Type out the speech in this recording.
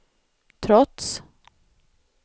trots